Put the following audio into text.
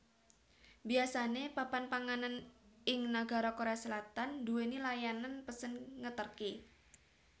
Biasane papan panganan ing nagara Korea Selatan nduwèni layanan pesen ngeterke